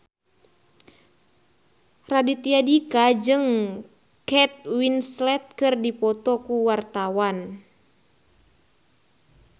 Raditya Dika jeung Kate Winslet keur dipoto ku wartawan